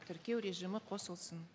тіркеу режимі қосылсын